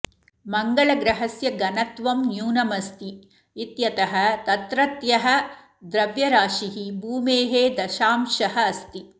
मङ्गलग्रहस्य घनत्वं न्यूनमस्ति इत्यतः तत्रत्यः द्रव्यराशिः भूमेः दशांशः अस्ति